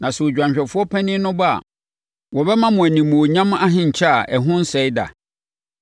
Na sɛ Odwanhwɛfoɔ panin no ba a, wɔbɛma mo animuonyam ahenkyɛ a ɛho nsɛe da.